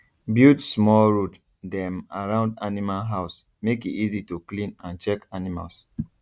build small road dem around animal house make e easy to clean and check animals